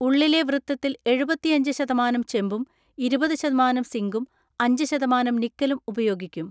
ഉള്ളിലെ വൃത്തത്തിൽ എഴുപത്തിഅഞ്ച് ശതമാനം ചെമ്പും ഇരുപത്‌ ശതമാനം സിങ്കും അഞ്ച് ശതമാനം നിക്കലും ഉപയോഗിക്കും.